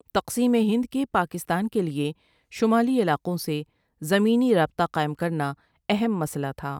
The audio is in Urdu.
تقسیم ہند کے پاکستان کے لیے شمالی علاقوں سے زمینی رابطہ قائم کرنا اہم مسلہ تھا ۔